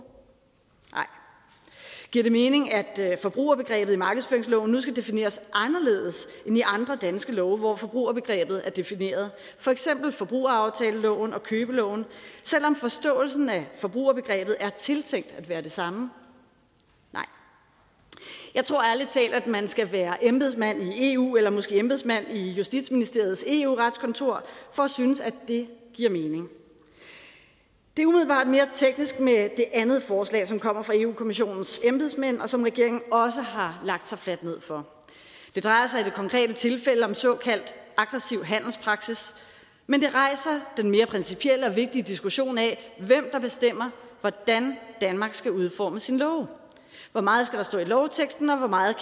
nej giver det mening at forbrugerbegrebet i markedsføringsloven nu skal defineres anderledes end i andre danske love hvor forbrugerbegrebet er defineret for eksempel forbrugeraftaleloven og købeloven selv om forståelsen af forbrugerbegrebet er tiltænkt at være det samme nej jeg tror ærlig talt at man skal være embedsmand i eu eller måske embedsmand i justitsministeriets eu retskontor for synes at det giver mening det er umiddelbart mere teknisk med det andet forslag som kommer fra europa kommissionens embedsmænd og som regeringen også har lagt sig fladt ned for det drejer sig i det konkrete tilfælde om såkaldt aggressiv handelspraksis men det rejser den mere principielle og vigtige diskussion af hvem der bestemmer hvordan danmark skal udforme sine love hvor meget skal stå i lovteksten og hvor meget